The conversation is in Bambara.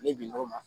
Ni binko ma